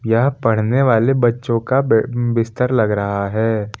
यह पढ़ने वाले बच्चों का बे बिस्तर लगा रहा है।